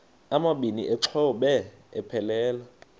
amabini exhobe aphelela